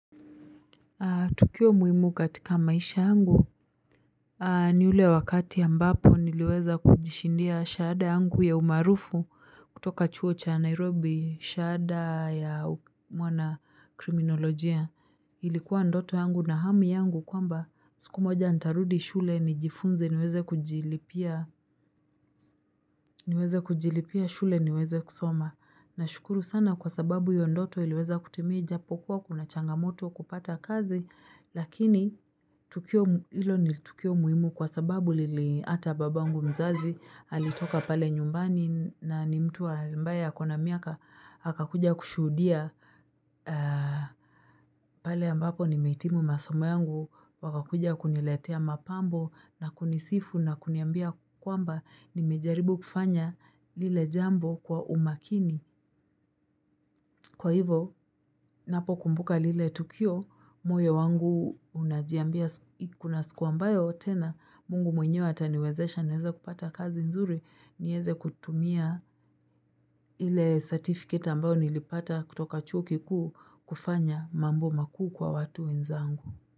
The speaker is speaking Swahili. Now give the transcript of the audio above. Tukio muhimu katika maisha yangu ni ule wakati ambapo niliweza kujishindia shahada yangu ya umaarufu kutoka chuo cha Nairobi shahada ya mwana kriminolojia ilikuwa ndoto yangu na hamu yangu kwamba siku moja ntarudi shule nijifunze niweze kujilipia niweze kujilipia shule niweze kusoma. Nashukuru sana kwa sababu iyo ndoto iliweza kutimia ijapokuwa kuna changamoto kupata kazi lakini ilo ni tukio muhimu kwa sababu lili ata babangu mzazi alitoka pale nyumbani na ni mtu ambaye ako na miaka akakuja kushuhudia pale ambapo nimehitimu masomo yangu wakakuja kuniletea mapambo na kunisifu na kuniambia kwamba nimejaribu kufanya lile jambo kwa umakini. Kwa hivo, napo kumbuka lile tukio, moyo wangu unajiambia kuna siku ambayo tena, mungu mwenyewe ataniwezesha naweza kupata kazi nzuri, nieze kutumia ile certificate ambao nilipata kutoka chuo kikuu kufanya mambo makuu kwa watu wenzangu.